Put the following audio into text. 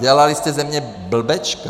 Dělali jste ze mě blbečka.